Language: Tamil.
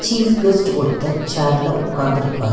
சீஃப் கெஸ்ட் ஒருத்தர் சேர்ல உக்காந்துருக்கார்.